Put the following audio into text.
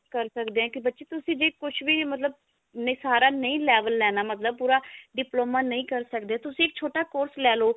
ਕਰ ਸਕਦੇ ਹਾਂ ਕਿ ਬੱਚੇ ਤੁਸੀਂ ਜੇ ਕੁਛ ਵੀ ਮਤਲਬ ਸਾਰਾ ਨਹੀ level ਲੇਣਾ ਮਤਲਬ ਪੂਰਾ diploma ਨਹੀ ਕਰ ਸਕਦੇ ਤੁਸੀਂ ਇੱਕ ਛੋਟਾ course ਲੈਲੋ